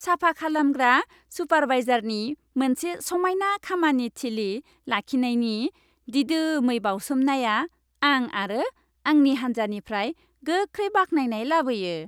साफाखालामग्रा सुपारवाइजारनि मोनसे समायना खामानि थिलि लाखिनायनि दिदोमै बावसोमनाया आं आरो आंनि हान्जानिफ्राय गोख्रै बाखनायनाय लाबोयो।